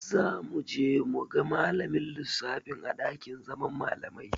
Za mu je mu ga malamin lissafin a ɗakin zaman malamai.